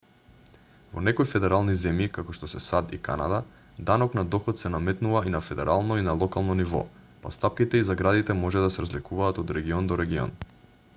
во некои федерални земји како што се сад и канада данок на доход се наметнува и на федерално и на локално ниво па стапките и заградите може да се разликуваат од регион до регион